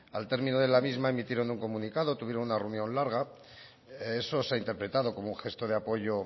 al término de la misma emitieron un comunicado tuvieron una reunión larga eso se ha interpretado como un gesto de apoyo